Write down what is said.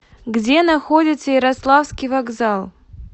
где находится ярославский вокзал